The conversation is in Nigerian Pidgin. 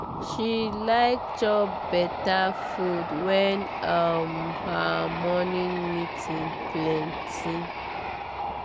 she like chop better food when um her morning meeting plenty.